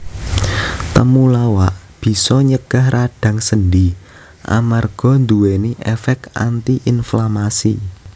Temulawak bisa nyegah radang sendi amarga nduwèni èfèk anti inflamasi